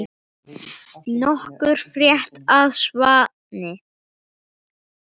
Nokkuð frétt af Svani?